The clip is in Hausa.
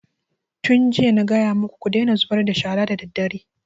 Tun jiya na gaya maku ku daina zubar da shara daddare!